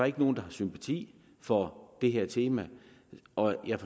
ikke nogen der har sympati for det her tema og jeg